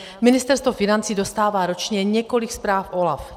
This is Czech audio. Ministerstvo financí dostává ročně několik zpráv OLAFu.